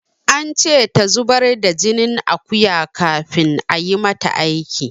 An ce ta zubar da jinin akuya kafin ayi mata aiki.